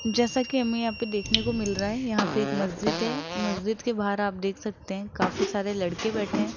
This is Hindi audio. जैसा कि हमें यहां पे देखने को मिल रहा है यहां पे एक मस्जिद है मस्जिद के बाहर आप देख सकते हैं काफी सारे लड़के बैठे हैं।